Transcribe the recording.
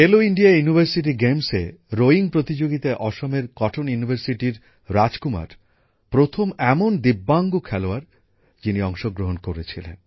খেলো ইন্ডিয়া বিশ্ববিদ্যালয় ক্রীড়া প্রতিযোগিতায় রোয়িংএ প্রতিযোগিতায় অসমের কটন বিশ্ববিদ্যালয়ের রাজকুমার প্রথম দিব্যাঙ্গ খেলোয়াড় হিসেবে অংশগ্রহণ করেছিলেন